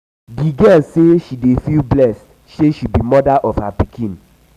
di girl say she dey feel blessed sey she be moda to her pikin.